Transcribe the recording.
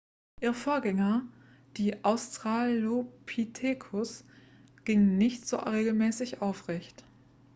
ihre vorgänger die australopithecus gingen nicht so regelmäßig aufrecht